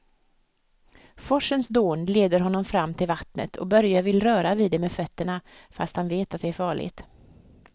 Forsens dån leder honom fram till vattnet och Börje vill röra vid det med fötterna, fast han vet att det är farligt.